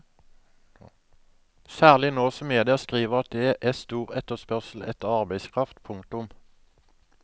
Særlig nå som media skriver at det er stor etterspørsel etter arbeidskraft. punktum